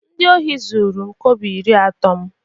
Ndị ohi zuru m kobo iri atọ m